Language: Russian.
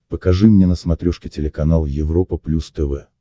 покажи мне на смотрешке телеканал европа плюс тв